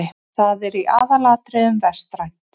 Það er í aðalatriðum vestrænt.